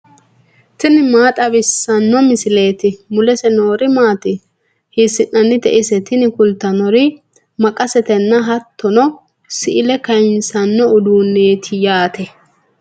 tini maa xawissanno misileeti ? mulese noori maati ? hiissinannite ise ? tini kultannori maqasetenna hattono si"ile kayiinsanno uduunneeti yaate.